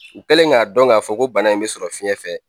U kɛlen k'a dɔn k'a fɔ ko bana in bɛ sɔrɔ fiyɛn fɛ.